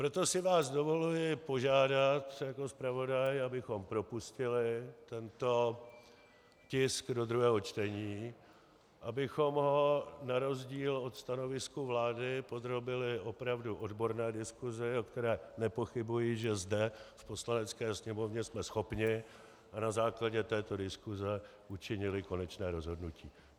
Proto si vás dovoluji požádat jako zpravodaj, abychom propustili tento tisk do druhého čtení, abychom ho na rozdíl od stanoviska vlády podrobili opravdu odborné diskusi, o které nepochybuji, že zde v Poslanecké sněmovně jsme schopni, a na základě této diskuse učinili konečné rozhodnutí.